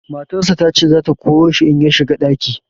Matarsa ta ce za ta koro shi in ya shiga ɗaki.